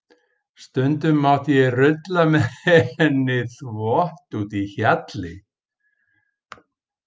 Stundum mátti ég rulla með henni þvott úti í hjalli.